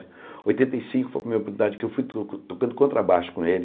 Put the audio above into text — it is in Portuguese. Oitenta e cinco foi a primeira oportunidade que eu fui to tocando contrabaixo com ele.